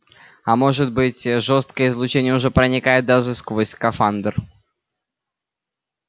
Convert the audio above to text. а может быть ээ жёсткое излучение уже проникает даже сквозь скафандр